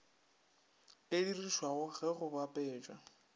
e dirišwago ge go bapatšwa